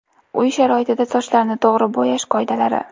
Uy sharoitida sochlarni to‘g‘ri bo‘yash qoidalari.